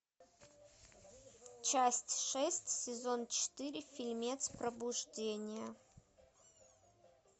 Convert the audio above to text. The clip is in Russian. часть шесть сезон четыре фильмец пробуждение